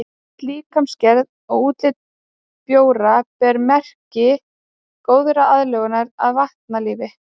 Öll líkamsgerð og útlit bjóra ber merki góðrar aðlögun að vatnalífi.